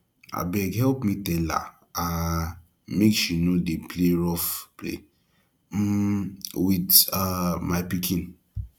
abeg help me tell her um make she no dey play rough play um with um my pikin